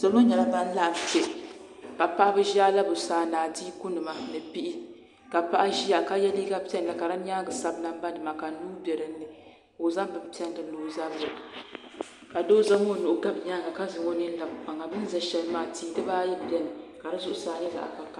Ti mini ba nyɛla ban laɣim kpɛ ka paɣ'ba ʒi alabusaana ni adiikunima ni bihi ka paɣa ʒiya ye liiga piɛlli ka di nyaaŋa sabi nambanima ka nuu be dini o zaŋ beni piɛlli lɔ o sabiri ka Doo zaŋ o nuhi gabi nyaaŋa ka zaŋ o nini labe kpaŋa ka tihi dibbaayi beni ka di zuɣusaa nyɛ zaɣ'vakahili